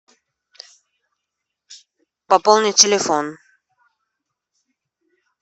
пополни телефон